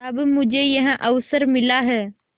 अब मुझे यह अवसर मिला है